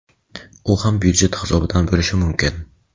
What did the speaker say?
U ham byudjet hisobidan bo‘lishi mumkin.